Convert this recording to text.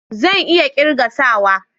Zan iya kirga sawa